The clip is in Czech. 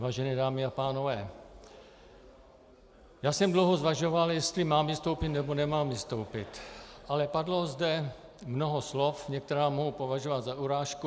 Vážené dámy a pánové, já jsem dlouho zvažoval, jestli mám vystoupit, nebo nemám vystoupit, ale padlo zde mnoho slov, některá mohu považovat za urážku.